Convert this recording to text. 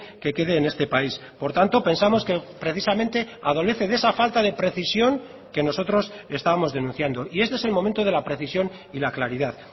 que quede en este país por tanto pensamos que precisamente adolece de esa falta de precisión que nosotros estábamos denunciando y este es el momento de la precisión y la claridad